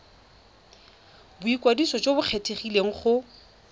boikwadiso jo bo kgethegileng go